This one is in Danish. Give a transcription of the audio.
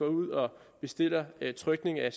ud og bestiller trykningen af